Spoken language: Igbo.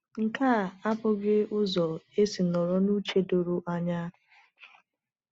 .Nke a abụghị ụzọ esi nọrọ n’uche doro anya.